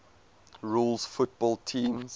rules football teams